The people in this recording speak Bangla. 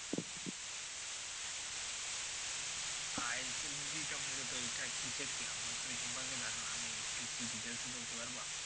ISSB টা মূলত কি? এইটা কিসের কি আমার তো এই সম্পর্কে ধারণা নেই একটু কি details এ বলতে পারবা?